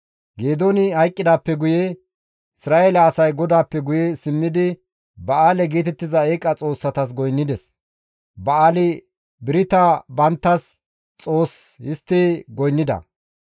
Geedooni hayqqidaappe guye Isra7eele asay GODAAPPE guye simmidi Ba7aale geetettiza eeqa xoossatas goynnides; Ba7aali-Birita banttas xoos histti goynnida.